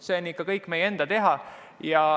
Samas on see kõik ikkagi meie enda teha.